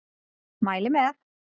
Mæli með!